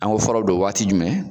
An go fɔrɔ be don waati jumɛn